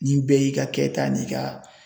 N'i bɛɛ y'i ka kɛta n'i ka